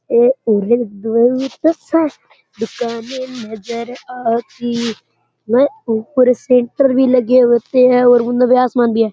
ए उरे दुकानें नजर आती मै ऊपर सैंटर भी लगे हुए होते हैं और उन्ने आसमान भी है।